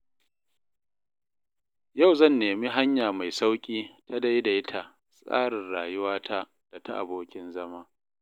Yau zan nemi hanya mai sauƙi ta daidaita tsarin rayuwata da ta abokin zama.